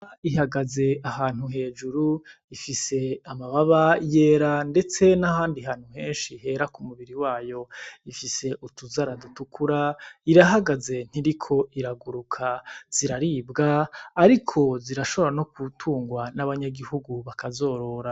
Ihagaze ahantu hejuru ifise amababa yera ndetse n' ahandi hantu hera kumubiri wayo ifise utuzara dutukura irahagaze ntiriko iraguruka ziraribwa ariko zirashobora no gutungwa n' abanyagihugu bakazorora.